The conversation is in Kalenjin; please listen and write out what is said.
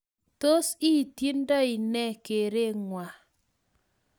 Tos iityndoi ne kerengwai?